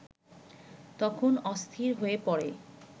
তখন অস্থির হয়ে পড়ে